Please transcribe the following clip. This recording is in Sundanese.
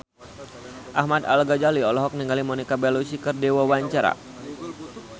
Ahmad Al-Ghazali olohok ningali Monica Belluci keur diwawancara